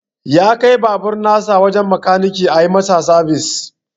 Ya kai babur nasa wajen makaniki ayi masa sabis.